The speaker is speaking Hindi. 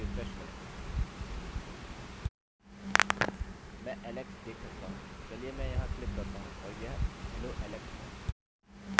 कुछ लिया गया है यह post वेरिएबल के अंदर संग्रहीत किया गया है